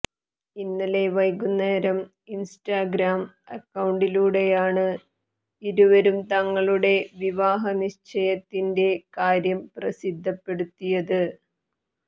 ഇന്നലെ വൈകുന്നേരം ഇൻസ്റ്റാഗ്രാം അക്കൌണ്ടിലൂടെയാണ് ഇരുവരും തങ്ങളുടെ വിവാഹനിശ്ചയത്തിന്റെ കാര്യം പ്രസിദ്ധപ്പെടുത്തിയത്